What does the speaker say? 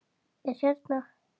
Er hérna.